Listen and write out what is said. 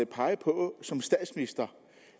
pege på som statsminister